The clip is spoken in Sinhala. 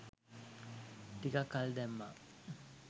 ටිකක් කල් දැම්මා.